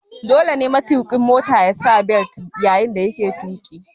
Dole ne matuƙin Mota yasa bel yayin da yake tuƙi